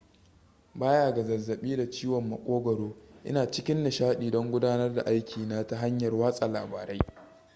baya ga zazzabi da ciwon makogaro ina cikin nishadi don gudanar da aikina ta hanyar watsa labarai